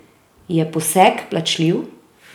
Je poseg plačljiv?